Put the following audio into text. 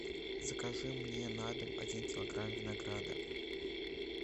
закажи мне на дом один килограмм винограда